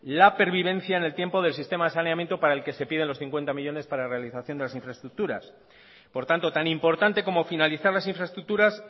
la pervivencia en el tiempo del sistema de saneamiento para el que se pide los cincuenta millónes para realización de las infraestructuras por tanto tan importante como finalizar las infraestructuras